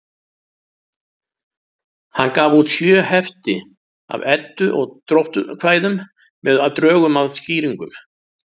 Hann gaf út sjö hefti af Eddu- og dróttkvæðum með drögum að skýringum.